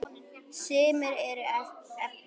Sumir voru efins.